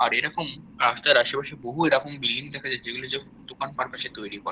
আর এরকম রাস্তার আশেপাশে বহু এরকম বিল্ডিং দেখা যায় যেগুলো জাস্ট দোকান পারপাস এ তৈরি করা।